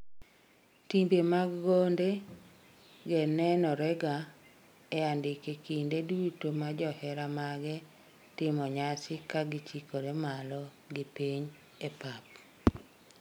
timbe mag gonde ge nenorega e andike kinde duto ma johera mage timo nyasi ka gichikore malo gi piny e pap